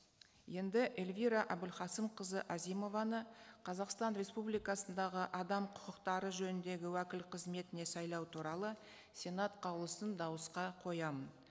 енді эльвира әбілқасымқызы әзімованы қазақстан республикасындағы адам құқықтары жөніндегі уәкіл қызметіне сайлау туралы сенат қаулысын дауысқа қоямын